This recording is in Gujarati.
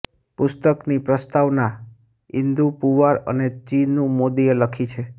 પુસ્તકની પ્રસ્તાવના ઈન્દુ પુવાર અને ચીનુ મોદીએ લખી છે